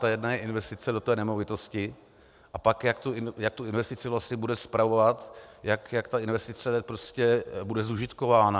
Ta jedna je investice do té nemovitosti a pak, jak tu investici vlastně bude spravovat, jak ta investice bude zužitkována.